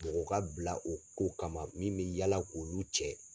Mɔgɔ ka bila o ko kama min bɛ yaala k'olu cɛ.